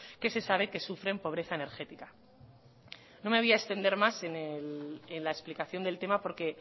que se sabe que sufren pobreza energética no me voy a extender en la explicación del tema porque